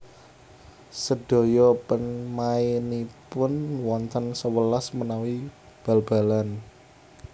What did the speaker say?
Sadaya pemainipun wonten sewelas menawi bal balan